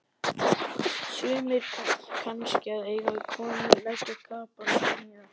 Sumir kannski að eiga við konu, leggja kapal, smíða.